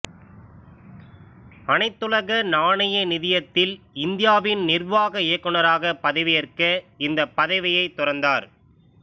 அனைத்துலக நாணய நிதியத்தில் இந்தியாவின் நிர்வாக இயக்குநராகப் பதவியேற்க இந்தப் பதவியைத் துறந்தார்